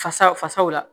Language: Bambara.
Fasa fasaw la